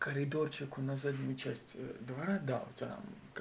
коридорчику на заднюю часть двора да там